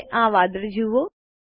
હવે આ વાદળો જુઓ